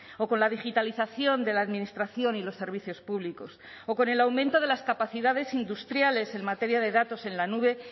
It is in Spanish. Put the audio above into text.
o con la digitalización de la administración y los servicios públicos o con el aumento de las capacidades industriales en materia de datos en la nube